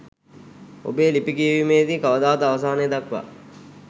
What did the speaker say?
ඔබේ ලිපි කියවීමේදී කවදාවත් අවසානය දක්වා